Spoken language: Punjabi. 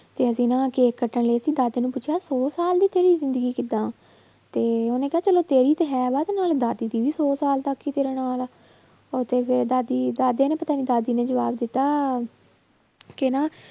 ਤੇ ਅਸੀਂ ਨਾ ਕੇਕ ਕੱਟਣ ਲਈ ਅਸੀਂ ਦਾਦੇ ਨੂੰ ਪੁੱਛਿਆ ਸੌ ਸਾਲ ਦੀ ਤੇਰੀ ਜ਼ਿੰਦਗੀ ਕਿੱਦਾਂ ਤੇ ਉਹਨੇ ਕਿਹਾ ਚਲੋ ਤੇਰੀ ਤੇ ਹੈਗਾ ਤੇ ਨਾਲ ਦਾਦੀ ਦੀ ਵੀ ਸੌ ਸਾਲ ਤੱਕ ਹੀ ਤੇਰੇ ਨਾਲ ਆ, ਉਹ ਤੇ ਫਿਰ ਦਾਦੀ ਦਾਦੇ ਨੇ ਪਤਾ ਨੀ ਦਾਦੀ ਨੇ ਜਵਾਬ ਦਿੱਤਾ ਕਿ ਨਾ